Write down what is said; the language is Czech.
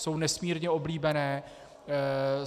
Jsou nesmírně oblíbené.